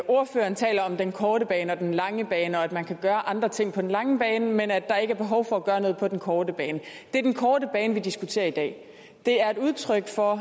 ordføreren taler om den korte bane og den lange bane og at man kan gøre andre ting på den lange bane men at der ikke er behov for at gøre noget på den korte bane det er den korte bane vi diskuterer i dag det er et udtryk for